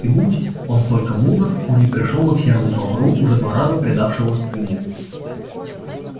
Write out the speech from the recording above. и будь он только мудр он не пришёл бы к серому бобру уже два раза предавшего ему